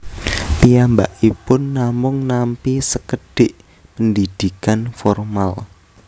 Piyambakipun namung nampi sekedhik pendidikan formal